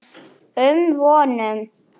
um vonum.